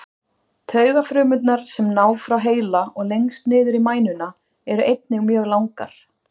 Taugafrumurnar sem ná frá heila og lengst niður í mænuna eru einnig mjög langar.